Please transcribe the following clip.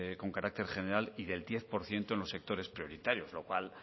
con carácter general y del diez por ciento en los sectores prioritarios lo cual